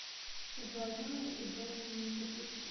соблазненные и брошенные запусти